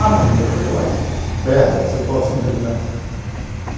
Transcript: Ai, a coisa mais bela que você possa imaginar.